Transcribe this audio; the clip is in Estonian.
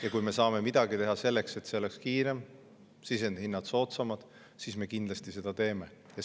Ja kui me saame midagi teha selleks, et see oleks kiirem, sisendhinnad soodsamad, siis me kindlasti seda teeme.